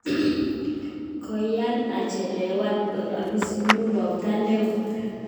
Koian achelewan ait opisi nyu ropta ne oo